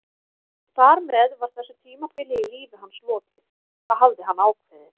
Þar með var þessu tímabili í lífi hans lokið, það hafði hann ákveðið.